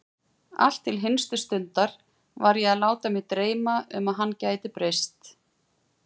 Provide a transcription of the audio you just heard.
Allt til hinstu stundar var ég að láta mig dreyma um að hann gæti breyst.